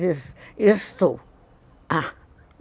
Disse, estou.